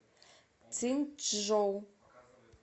циньчжоу